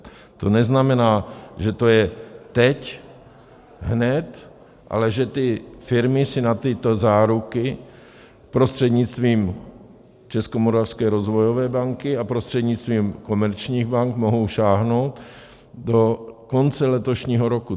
To neznamená, že to je teď, hned, ale že ty firmy si na tyto záruky prostřednictvím Českomoravské rozvojové banky a prostřednictvím komerčních bank mohou sáhnout do konce letošního roku.